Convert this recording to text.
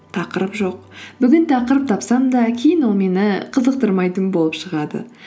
тақырып жоқ бүгін тақырып тапсам да кейін ол мені қызықтырмайтын болып шығады